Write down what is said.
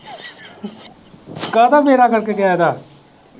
ਕਾਹਦਾ ਵਿਹੜਾ ਗਰਕ ਗਿਆ ਇਹਦਾ।